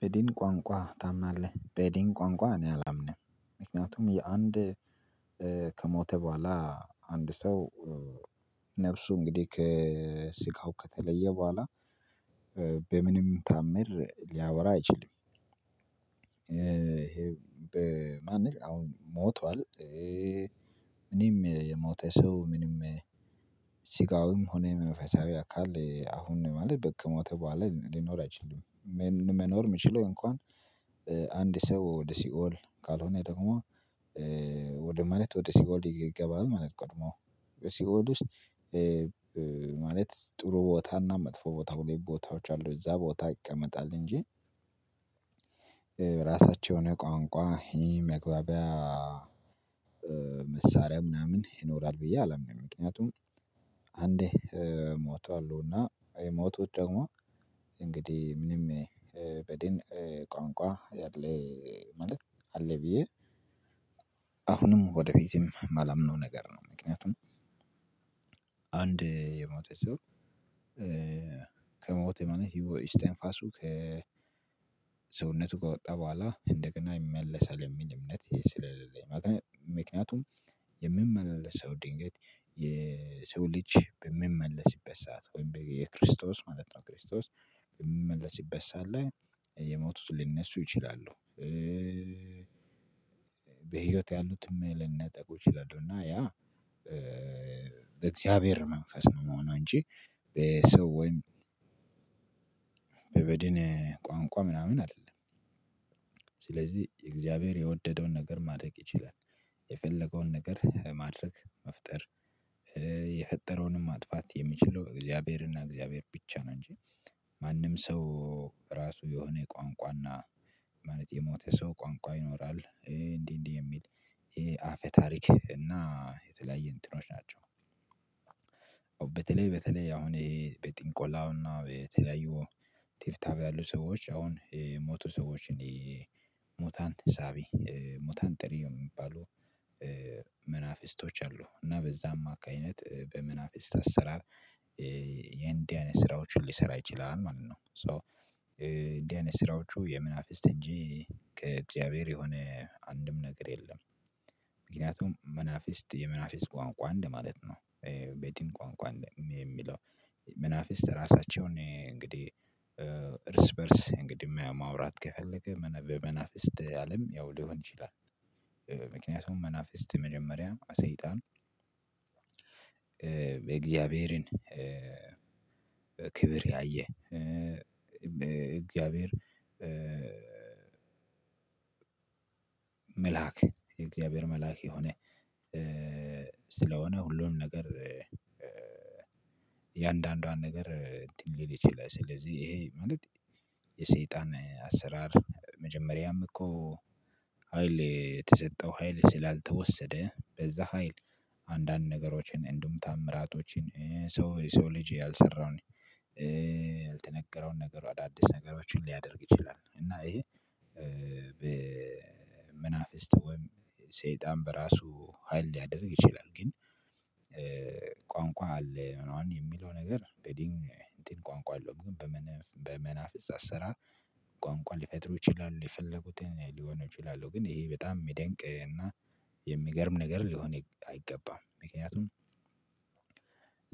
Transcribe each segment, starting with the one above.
በዲን ቋንቋ ታምናለህ በዲን ቋንቋ እኔ አላምንም ምክንያቱም የአንድ ከሞተ በኋላ አንድ ሰው ነፍሱ እንግዲህ ከስጋው ከተለየ በኋላ በምንም ታምር ሊያወራ አይችልም። ይሄ ማለት አሁን ሞቷል። ምንም የሞተ ሰው ምንም ሆነ የመንፈሳዊ አካል አሁን ማለት በቀ ከሞተ በኋላ ሊኖር አይችልም። መኖር የሚችለው እንኳን አንድ ሰው ወደ ሲኦል ካልሆነ ደግሞ ወደ ማለት ወደ ሲኦል ይገባል ማለት ቀድሞ በሲኦል ውስጥ ማለት ጥሩ ቦታና መጥፎ ቦታ ሁለት ቦታዎች አሉ እዛ ቦታ ይቀመጣል እንጂ የራሳቸውን የሆነ ቋንቋ መግባቢያ መሳሪያ ምናምን ይኖራል ብዬ አላምንም። ምክንያቱም አንዴ ሞቷል እና የሞቱት ደግሞ እንግዲህ ምንም በድን ቋንቋ ያለ ማለት አለ ብዬ አሁንም ወደ ፍትም የማላምነው ነገር ነው። ምክንያቱም አንድ የሞተ ሰው ከሞተ ማለት ኢስተንፋሱ ከሰውነቱ ጋር ከወጣ በኋላ እንደገና ይመለሳል የሚል እምነት ስለሌለኝ ማለት ምክንያቱም የሚመለሰው ድንገት የሰው ልጅ በሚመለስበት ሰዓት ወይም የክርስቶስ ማለት ነው። ክርስቶስ በሚመለስበት ሰዓት ላይ የሞቱት ሊነሱ ይችላሉ። በህይወት ያሉትንም ልነጠቁ ይችላሉ እና ያ በእግዚአብሔር መንፈስ ነው መሆኑ እንጂ በሰው ወይም በበድኔ ቋንቋ ምናምን አይደለም። ስለዚህ የእግዚአብሔር የወደደውን ነገር ማድረግ ይችላል የፈለገውን ነገር ማድረግ መፍጠር የፈጠረውንም ማጥፋት የምችለው እግዚአብሔርና እግዚአብሔር ብቻ ነው። ማንም ሰው ራሱ የሆነ ቋንቋና ማለት የሞተ ሰው ቋንቋ ይኖራል እንዲህ እንዲህ የሚል አፈ ታሪክ እና የተለያየ እንትኖች ናቸው። በተለይ በተለይ አሁን ይሄ በጥንቆላውና የተለያዩ ትብታብ ያሉ ሰዎች አሁን የሞቱ ሰዎች እንዴ ሞታን ሳቢ ሙታን ጠሪ የሚባሉ መናፍስቶች አሉ እና በዛም አማካኝነት በመናፍስት አሰራር የእንዲህ አይነት ስራዎችን ሊሰራ ይችላል ማለት ነው። ሶ እንዲህ አይነት ስራዎቹ የመናፊስት እንጂ ከእግዚአብሔር የሆነ አንድም ነገር የለም። ምክንያቱም መናፊስት የመናፊስት ቋንቋ እንደማለት ነው በድን ቋንቋ የሚለው መናፊስት ራሳቸውን እንግዲህ እርስ በእርስ እንግዲህ ማውራት ከፈለገ በመናፍስት አለም ያው ሊሆን ይችላል። ምክንያቱም መናፍስት መጀመሪያ ሰይጣን የእግዚአብሔርን ክብር ያየ በእግዚአብሔር በ መልአክ የእግዚአብሔር መልአክ የሆነ ስለሆነ ሁሉም ነገር እያንዳንዷን ነገር እንትን ሊል ይችላል ስለዚህ ይሄ ማለት የሰይጣን አሰራር መጀመሪያም እኮ ሀይል የተሰጠው ሀይል ስላልተወሰደ በዛ ሀይል አንዳንድ ነገሮችን እንዲሁም ተአምራቶችን ሰው ሰው ልጅ ያልሰራውን ያልተነገረውን ነገር አዳዲስ ነገሮችን ሊያደርግ ይችላል። እና ይሄ በመናፍስት ወይም ሰይጣን በራሱ ሀይል ሊያደርግ ይችላል ግን ቋንቋ አለ ምናምን የሚለው ነገር በዲን ቋንቋ አለው በመናፍስት አሰራር ቋንቋ ሊፈጥሩ ይችላሉ የፈለጉትን ሊሆኑ ይችላሉ። ግን ይሄ በጣም የሚደንቅ እና የሚገርም ነገር ሊሆን አይገባም ምክንያቱም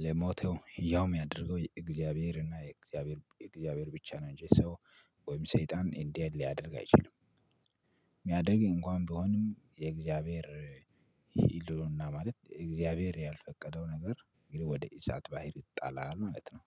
ለሞተው ሕያው ምያደርገው እግዚአብሔር እና እግዚአብሔር እግዚአብሔር ብቻ ነው እንጂ ሰው ወይም ሰይጣን እንዲህ ሊያደርግ አይችልም። የሚያደርግ እንኳን ብሆንም የእግዚአብሔር ህልውና ማለት እግዚአብሔር ያልፈቀደው ነገር እንግዲህ ወደ ኢሳት ባህር ይጣላል ማለት ነው።